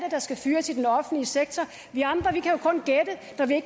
der skal fyres i den offentlige sektor vi andre